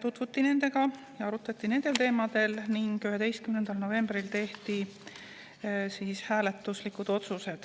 tutvuti nendega ja arutati nendel teemadel ning 11. novembril tehti hääletuslikud otsused.